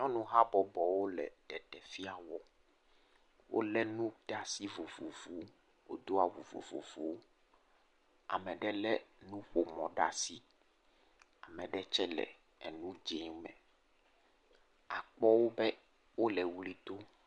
Nyɔnu habɔbɔwo le ɖeɖe fia wɔm, wo lé nu ɖe asi vovovo, wo do awu vovovowo, ameɖe lé nuƒomɔ ɖe asi, ameɖe tse le enu dzeŋ me, akpɔwo be wole wli do.